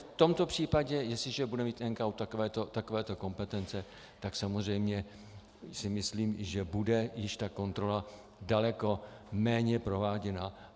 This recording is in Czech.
V tomto případě, jestliže bude mít NKÚ takovéto kompetence, tak samozřejmě si myslím, že bude již ta kontrola daleko méně prováděna.